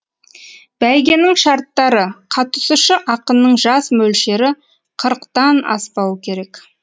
бәйгенің шарттары қатысушы ақынның жас мөлшері қырықтан аспауы керек